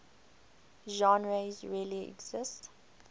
genres really exist